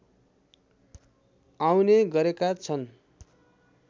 आउने गरेका छन्